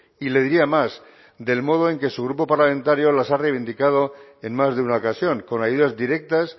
y le diría más del modo en que su grupo parlamentario las ha reivindicado en más de una ocasión con ayudas directas